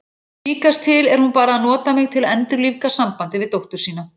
Líkast til er hún bara að nota mig til að endurlífga sambandið við dóttur sína.